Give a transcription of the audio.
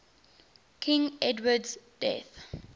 king edward's death